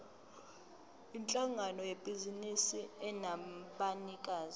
yinhlangano yebhizinisi enabanikazi